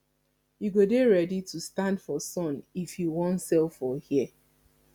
you go dey ready to stand for sun if you wan sell for here